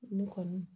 Nin kɔni